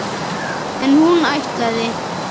En hún ætlaði!